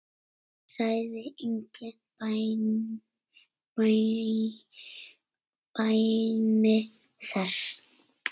Sagði engin dæmi þess.